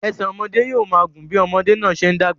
Ẹsẹ̀ ọmọdé yóò máa gùn bí ọmọdé náà ṣe ń dàgbà sí i.